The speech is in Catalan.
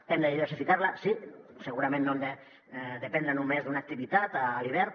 hem de diversificar la sí segurament no hem de dependre només d’una activitat a l’hivern